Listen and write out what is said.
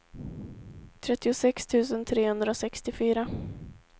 trettiosex tusen trehundrasextiofyra